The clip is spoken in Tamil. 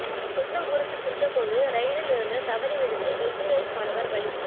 சொந்த ஊருக்கு சென்ற போது ரெயிலில் இருந்து தவறி விழுந்து என்ஜினீயரிங் மாணவர் பலி